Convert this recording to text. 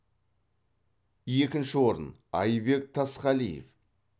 екінші орын айбек тасқалиев